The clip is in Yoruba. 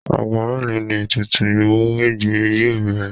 Ago mélòó ni ètùtù Ìmúwẹgbẹ́ yóò bẹ̀rẹ̀?